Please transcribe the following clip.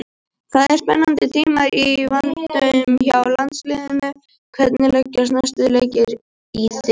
Það eru spennandi tímar í vændum hjá landsliðinu, hvernig leggjast næstu leikir í þig?